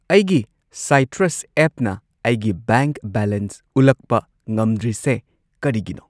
ꯑꯩꯒꯤ ꯁꯥꯢꯇ꯭ꯔꯁ ꯑꯦꯞꯅ ꯑꯩꯒꯤ ꯕꯦꯡꯛ ꯕꯦꯂꯦꯟꯁ ꯎꯠꯂꯛꯄ ꯉꯝꯗ꯭ꯔꯤꯁꯦ ꯀꯔꯤꯒꯤꯅꯣ?